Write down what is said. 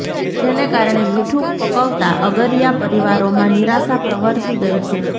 જેને કારણે મીઠું પકવતા અગરીયા પરિવારો માં નિરાશા પ્રવર્તી ગઇ છે